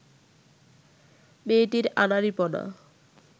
মেয়েটির আনাড়িপনা